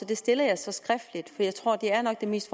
det stiller jeg så skriftligt for det er nok det mest